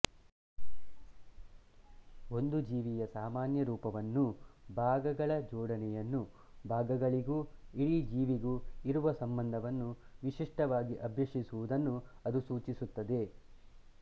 ಒಂದು ಜೀವಿಯ ಸಾಮಾನ್ಯ ರೂಪವನ್ನೂ ಭಾಗಗಳ ಜೋಡಣೆಯನ್ನೂ ಭಾಗಗಳಿಗೂ ಇಡೀ ಜೀವಿಗೂ ಇರುವ ಸಂಬಂಧವನ್ನೂ ವಿಶಿಷ್ಟವಾಗಿ ಅಭ್ಯಸಿಸುವುದನ್ನು ಅದು ಸೂಚಿಸುತ್ತದೆ